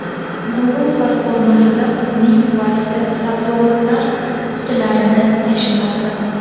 Google panoramasida qizning buvasi sabzavotlar qutilarini tashimoqda.